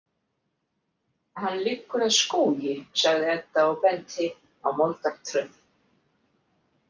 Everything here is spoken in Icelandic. Hann liggur að skógi, sagði Edda og benti á moldartröð.